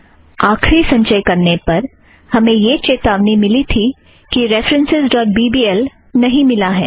आखरी संचय करने पर हमें यह चेतावनी मिली है कि references dot B B L referencesबीबीएल नहीं मिला है